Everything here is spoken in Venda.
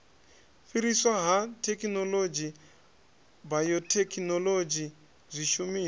fhiriswa ha thekhinolodzhi bayothekhinolodzhi zwishumiswa